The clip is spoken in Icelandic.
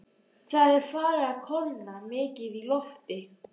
Það er farið að kólna mikið í lofti.